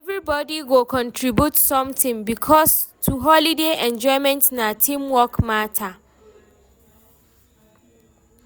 Everybody go contribute something, because holiday enjoyment na team work matter.